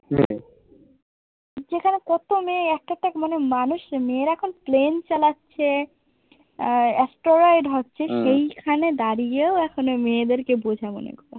যেখানে কত মেয়ে একটা একটা মানে মানুষ মেয়েরা এখন প্লেন চালাছে, আহ astronaut হচ্ছে সেই খানে দাড়িয়ে ও এখন ও মেয়েদের কে বোঝা মনে করছে।